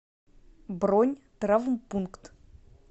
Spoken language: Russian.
бронь травмпункт